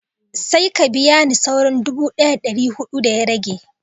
Sai ka biya ni sauran dubu ɗaya da dari hudu da ya rage